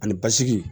Ani basigi